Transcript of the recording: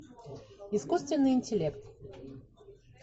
искусственный интеллект